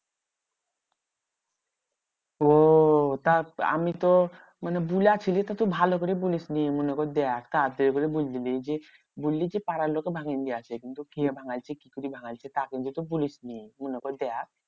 ওহ তা আমি তো মানে বুলাছিলি তো তুই ভালো করে বলিসনি মনে কর দেখ। কাকে এগুলো বলছিলিস যে বলি যে পাড়ার লোকে ভাঙিন দিয়াছে। কিন্তু কে ভাঙ্গাই সে? কিছু কি ভাঙ্গায় ছে? তা কিন্তু তুই বলিস নি। মনে করে দেখ।